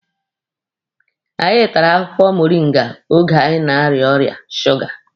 Anyị tara akwụkwọ moringa oge anyị na-aria ọrịa suga.